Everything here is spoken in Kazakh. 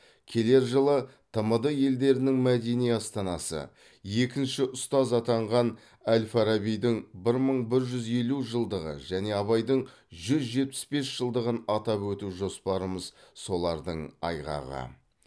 келер жылы тмд елдерінің мәдени астанасы екінші ұстаз атанған әл фарабидің бір мың бір жүз елу жылдығы және абайдың жүз жетпіс бес жылдығын атап өту жоспарымыз солардың айғағы